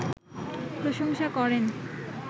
প্রশংসা করেন